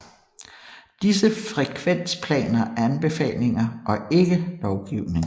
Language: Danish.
Disse frekvensplaner er anbefalinger og ikke lovgivning